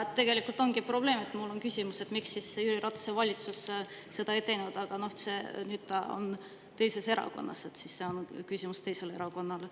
Ja tegelikult ongi probleem, et mul on küsimus, miks siis Jüri Ratase valitsus seda ei teinud, aga nüüd on ta teises erakonnas ja see on küsimus teisele erakonnale.